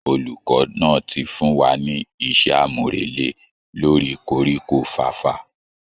Olùkọ́ náà ti fún wa ní iṣẹ́ àmúrelé lórí koríko fàfà